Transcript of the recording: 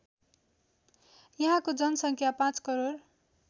यहाँको जनसङ्ख्या ५ करोड